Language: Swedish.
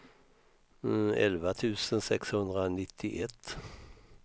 elva tusen sexhundranittioett